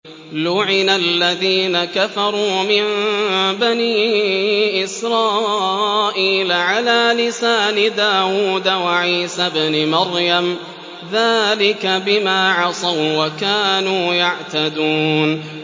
لُعِنَ الَّذِينَ كَفَرُوا مِن بَنِي إِسْرَائِيلَ عَلَىٰ لِسَانِ دَاوُودَ وَعِيسَى ابْنِ مَرْيَمَ ۚ ذَٰلِكَ بِمَا عَصَوا وَّكَانُوا يَعْتَدُونَ